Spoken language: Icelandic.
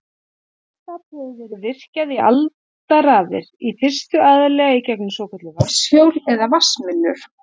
Vatnsafl hefur verið virkjað í aldaraðir, í fyrstu aðallega í gegnum svokölluð vatnshjól eða vatnsmyllur.